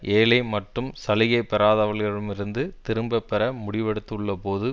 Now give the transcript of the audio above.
ஏழை மற்றும் சலுகை பெறாதவர்களிடமிருந்து திரும்ப பெற முடிவெடுத்துள்ள போது